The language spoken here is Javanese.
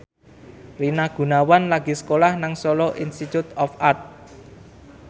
Rina Gunawan lagi sekolah nang Solo Institute of Art